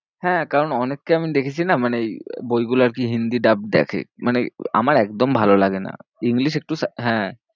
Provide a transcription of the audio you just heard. হ্যাঁ, কারণ অনেককে আমি দেখেছি না মানে এই বইগুলো আর কি হিন্দি ডাব দেখে, মানে আমার একদম ভালো লাগে না, English একটু হ্যাঁ।